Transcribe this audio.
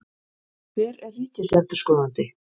Hver er ríkisendurskoðandi?